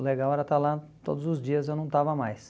O legal era estar lá todos os dias e eu não estava mais.